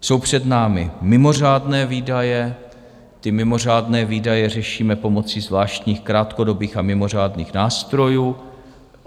Jsou před námi mimořádné výdaje - ty mimořádné výdaje řešíme pomocí zvláštních krátkodobých a mimořádných nástrojů.